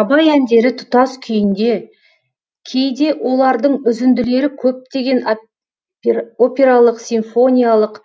абай әндері тұтас күйінде кейде олардың үзінділері көптеген опералық симфониялық